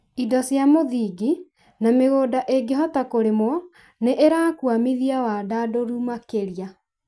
indo cia mũthingi, na mĩgũnda ĩngĩhota kũrĩmwo nĩ irakũamithia wandandũri makĩria.